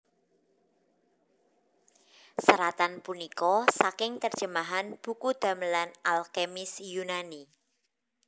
Seratan punika saking terjemahan buku damelan al kemis Yunani